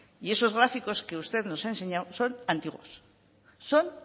y esos gráficos que usted nos ha enseñado son antiguos son